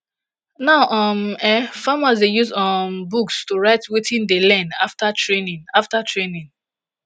now um eh farmers dey use um books to write wetin dey learn afta training afta training